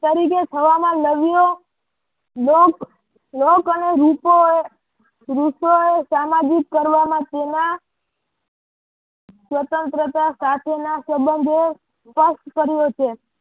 તરીકે થવામાં લગ્યો લોક લોક અને રૂપો એ સામાજિક કરવામાં તેના સ્વતંત્રતા સાથેના સબંધો ઉપવાસ કર્યો છે.